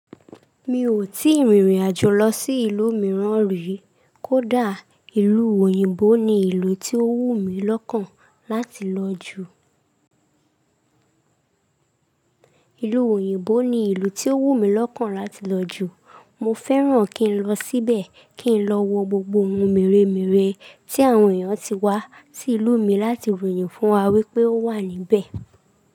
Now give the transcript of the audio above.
Mi ò tí ì rìnrìn àjò lọ sí ìlú mìíràn rí, kó dà ìlú òyìnbó ni ìlú tí ó wù mí lọ́kàn láti lọ ju. Ìlú òyìnbó ni ìlú tí ó wù mí lọ́kàn láti lọ ju. Mo fẹ́ràn kí n lọ síbẹ̀, kí n lọ wo gbogbo ohun mèremère tí àwọn èèyàn ti wá sí ìlú mi láti ròyìn fún wa wípé ó wà níbẹ̀.